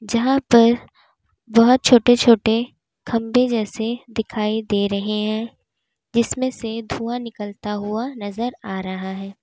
जहां पर बोहोत छोटे-छोटे खंभे जैसे दिखाई दे रहे हैं जिसमें से धुआं निकलता हुआ नजर आ रहा है।